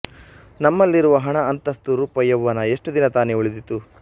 ನಮ್ಮಲ್ಲಿರುವ ಹಣ ಅಂತಸ್ತು ರೂಪ ಯೌವನ ಎಷ್ಟು ದಿನ ತಾನೆ ಉಳಿದೀತು